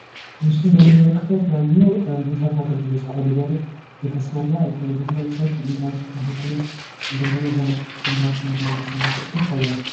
በምስሉ ላይ እንደምንመለከተው የተለያዩ መሰረታዊ አገልግሎት፣ ኮሪደር እየተሰራ ይታያል ። የተለያዩ ሰዎች ድንጋዮችን ተሸክመው እንዲሁም ድንጋዮችን እያነጠፉ ይገኛሉ።